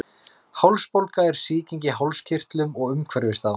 Hálsbólga er sýking í hálskirtlum og umhverfis þá.